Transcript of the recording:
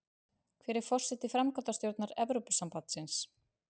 Hver er forseti framkvæmdastjórnar Evrópusambandsins?